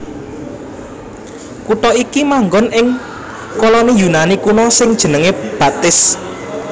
Kutha iki manggon ing koloni Yunani kuno sing jenengé Batis